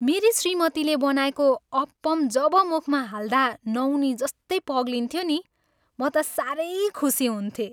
मेरी श्रीमतीले बनाएको अप्पम जब मुखमा हाल्दा नौनीजस्तै पग्लिन्थ्यो नि, म त सारै खुसी हुन्थेँ।